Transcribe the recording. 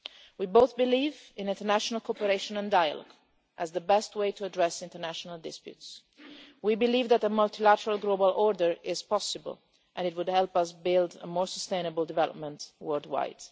We both believe in international cooperation and dialogue as the best way to address international disputes. We believe that a multilateral global order is possible and it would help us build a more sustainable development world wide.